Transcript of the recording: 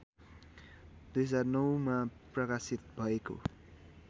२००९मा प्रकाशित भएको